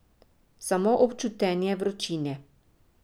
Samo občutenje vročine.